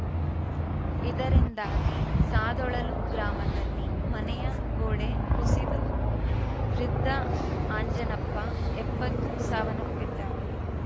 ಇದರಿಂದಾಗಿ ಸಾದೊಳಲು ಗ್ರಾಮದಲ್ಲಿ ಮನೆಯ ಗೋಡೆ ಕುಸಿದು ವೃದ್ಧ ಆಂಜನಪ್ಪ ಎಪ್ಪತ್ತು ಸಾವನ್ನಪ್ಪಿದ್ದಾರೆ